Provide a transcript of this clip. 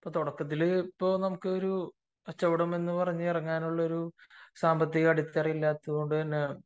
ഇപ്പോൾ തുടക്കത്തിൽ നമ്മക്ക് ഒരു കച്ചവടം എന്ന് പറഞ്ഞു ഇറങ്ങാനുള്ള ഒരു സാമ്പത്തിക അടിത്തറ ഇല്ലാത്തത് കൊണ്ട് തന്നെ